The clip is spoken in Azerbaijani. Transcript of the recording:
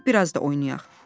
Dedi gəl bir az da oynayaq.